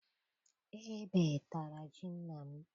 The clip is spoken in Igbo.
Ebe tara ji nna m.